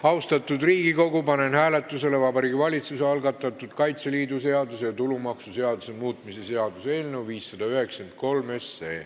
Austatud Riigikogu, panen hääletusele Vabariigi Valitsuse algatatud Kaitseliidu seaduse ja tulumaksuseaduse muutmise seaduse eelnõu 593.